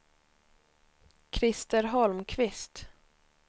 Krister Holmqvist